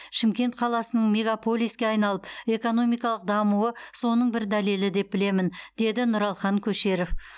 шымкент қаласының мегаполиске айналып экономикалық дамуы соның бір дәлелі деп білемін деді нұралхан көшеров